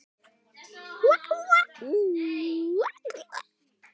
En málinu lauk ekki þar.